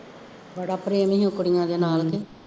ਬੜਾ ਪ੍ਰੇਮ ਸੀ ਉਹ ਕੁੜੀਆਂ ਦੇ ਨਾਲ